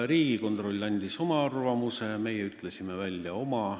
Riigikontroll andis oma arvamuse, meie ütlesime välja oma.